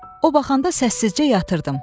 O baxanda səssizcə yatırdım.